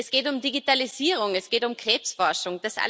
Es geht um Digitalisierung, es geht um Krebsforschung.